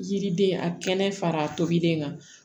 Yiriden a kɛnɛ fara tobiden kan